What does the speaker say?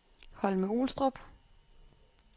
Holme-Olstrup